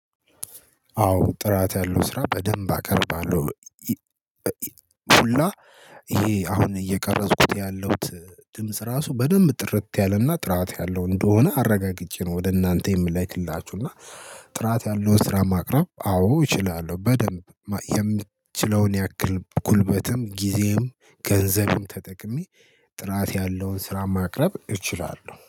አዎ ጥራት ያለው ስራ በደንብ አቀርባለሁ። ሁላ ይሄ አሁን እየቀረጽኩት ያለውት ድምጽ ራሱ በደንብ ጥርት ያለና ጥራት ያለው እንደሆነ አረጋግጬ ነው። ወደ እናንተ የምለክላችሁ እና። ጥራት ያለው ስራ ማቅረብ አዎ እችላለሁ። በደንብ የሚችለውን ያክል ጉልበትም ጊዜም ገንዘብም ተጠቅሜ ጥራት ያለውን ስራ ማቅረብ እችላለሁ